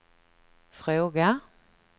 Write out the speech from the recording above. fråga